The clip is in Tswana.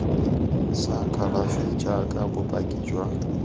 sa kalafi jaaka bopaki jwa